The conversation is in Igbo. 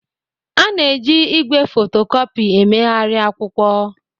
A na-eji igwe fotocopi emegharị akwụkwọ